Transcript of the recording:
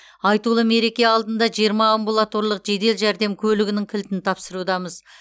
айтулы мереке алдында жиырма амбулаторлық жедел жәрдем көлігінің кілтін тапсырудамыз